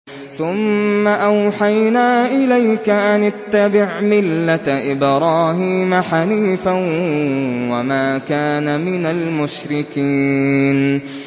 ثُمَّ أَوْحَيْنَا إِلَيْكَ أَنِ اتَّبِعْ مِلَّةَ إِبْرَاهِيمَ حَنِيفًا ۖ وَمَا كَانَ مِنَ الْمُشْرِكِينَ